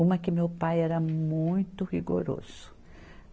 Uma que meu pai era muito rigoroso.